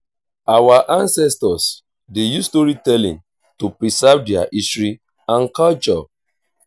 our ancestors dey use storytelling to preserve their history and culture.